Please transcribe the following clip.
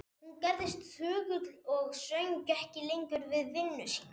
Hún gerðist þögul og söng ekki lengur við vinnu sína.